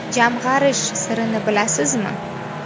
Jamg‘arish sirini bilasizmi?.